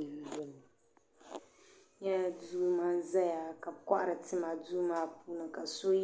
Piibu piibu ka bɛ niŋda cheche za nimaani so pili zipili piɛlli ka bɛ piɛ foolii